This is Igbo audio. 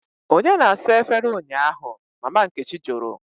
" onye na-asa efere ụnyahụ? Mama nkechi jụrụ.